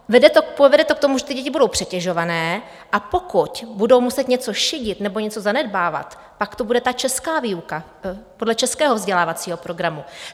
Povede to k tomu, že ty děti budou přetěžované, a pokud budou muset něco šidit nebo něco zanedbávat, pak to bude ta česká výuka podle českého vzdělávacího programu.